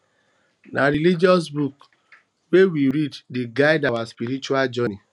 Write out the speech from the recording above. na religious books wey we read dey guide our spiritual journey